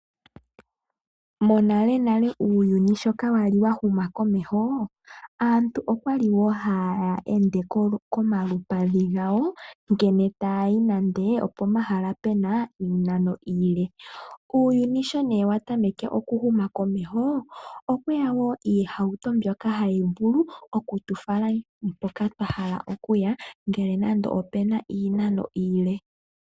Monalenale uuyuni sho ka wali wa huma komeho, aantu okwali wo haya ende komalupadhi gawo ngele taya yi nande opo mahala pena iinano iile. Uuyuni so nee wa tameke okuhuma komeho, okweya wo iihauto mbyoka hayi vulu oku tu fala mpoka twa hala okuya ngele nande opena iinano iile.